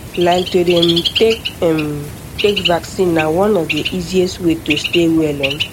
like to um take um take vaccine na one of the easiest way to stay well um